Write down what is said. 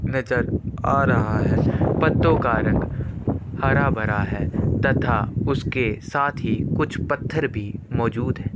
नज़र आ रहा है पत्तो का रंग हरा-भरा है तथा उसके साथ ही कुछ पत्थर भी मौजूद है।